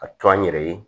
Ka to an yɛrɛ ye